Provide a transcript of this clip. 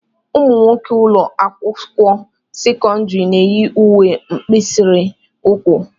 Ụmụnwoke ụlọ akwụkwọ sekọndrị na-eyi uwe mkpirisi ụkwụ.